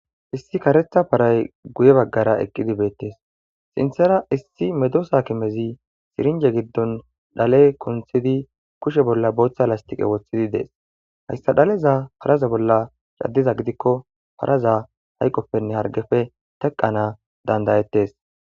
issi karetha paray guye baggara eqqidi beettes sinthera issi medosa kimezi sirinje giddon dhale kunthidi kushe bolla booththa lastiqe woththidi dees hayssa dhaleza paraze bolla caddiza gidikko paraza hayqoppenne hargefe teqana dandayettes